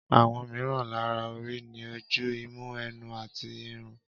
Àwọn mìíràn lára orí ni ojú, imú, ẹnu, etí, irun